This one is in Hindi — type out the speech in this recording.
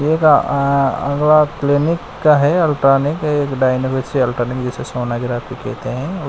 एक आ अगला क्लीनिक का है अल्ट्रानिक एक जिसे सोनोग्राफी कहते हैं।